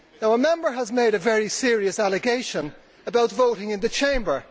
A Member has made a very serious allegation about voting in the Chamber.